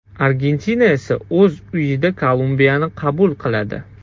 Argentina esa o‘z uyida Kolumbiyani qabul qiladi.